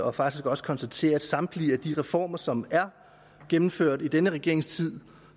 og faktisk også konstaterer at samtlige reformer som er gennemført i denne regerings tid